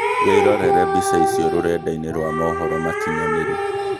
wĩrorere mbica icio rũrenda-inĩ rwa mohoro makinyanĩru